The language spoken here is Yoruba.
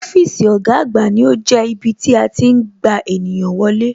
Ọ́fíìsì ọ̀gá àgbà ní ó jẹ́ ibí tí a tí ń gba ènìyàn wọlé